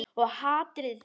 Og hatrið.